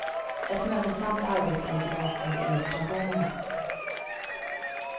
Ett mödosamt arbete ligger bakom illustrationerna.